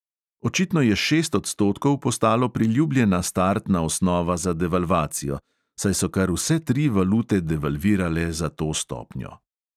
Očitno je šest odstotkov postalo priljubljena startna osnova za devalvacijo, saj so kar vse tri valute devalvirale za to stopnjo.